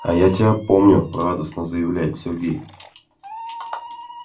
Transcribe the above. а я тебя помню радостно заявляет сергей